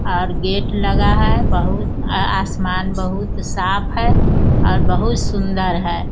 और गेट लगा है। बहुत आसमान बहुत साफ़ है और बहुत सुन्दर है।